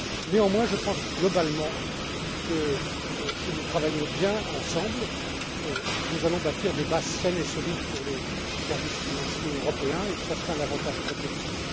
Néanmoins, je pense globalement que si nous travaillons bien ensemble, nous allons bâtir des bases saines et solides pour les services financiers européens et que cela sera un avantage compétitif.